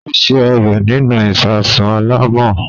Ó se ọbẹ̀ nínú ìsasùn alámọ̀.